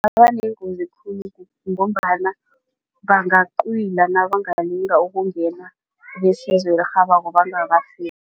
ngombana bangacwila nabalinga ukungena besizo elirhabako bangafiki.